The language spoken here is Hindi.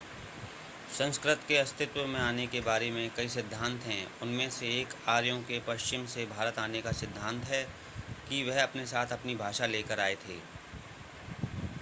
संस्कृत के अस्तित्व में आने के बारे में कई सिद्धांत हैं उनमें से एक आर्यों के पश्चिम से भारत आने का सिद्धांत है कि वह अपने साथ अपनी भाषा लेकर आए थे